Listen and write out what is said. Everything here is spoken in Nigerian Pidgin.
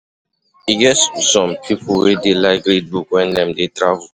E get some pipo wey dey like read book wen dem dey travel.